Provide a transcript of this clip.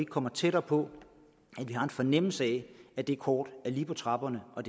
kommer tættere på en fornemmelse af at det kort er lige på trapperne og